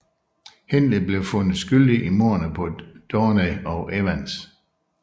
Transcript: Hindley blev fundet skyldig i mordene på Downey og Evans